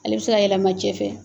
Ale bi se ka yɛlɛma cɛ fɛ